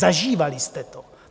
Zažívali jste to.